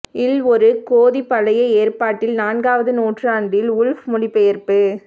இல் ஒரு கோதிக் பழைய ஏற்பாட்டில் நான்காவது நூற்றாண்டில் உல்ஃப் மொழிபெயர்ப்பு